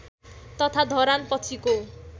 तथा धरान पछिको